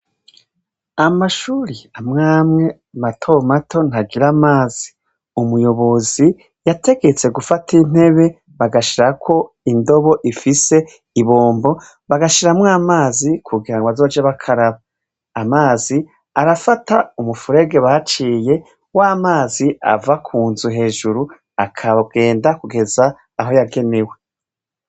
Amashure amwe amwe matomato ntagira amazi. Umuyobozi yategetse gufata intebe bagashirako indobo ifise ibombo bagashiramwo amazi kugira ngo bazoje bakaraba. Amazi arafata umufurege baciye w'amazi ava ku nzu hejuru akagenda kugeza aho yagenewe.